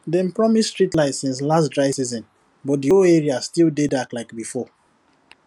dem promise street light since last dry season but the whole area still dey dark like before